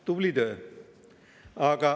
Tubli töö!